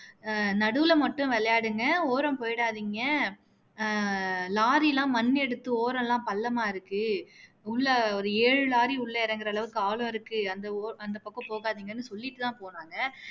ஆஹ் நடுவுல மட்டும் விளையாடுங்க ஓரம் போகாதீங்க ஆஹ் லாரி எல்லாம் மண்ணு எடுத்து ஒரம் எல்லாம் பள்ளமா இருக்கு உள்ள ஒரு ஏழு லாரி உள்ள இறங்குற அளாவுக்கு ஆழம் இருக்கு அந்த ஓ அந்த பக்கம் போகாதீங்கன்னு சொல்லிட்டு தான் போனாங்க